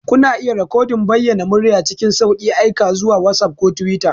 Kuna iya rikodin bayanan murya cikin sauƙi, aika su zuwa WhatsApp ko Twitter.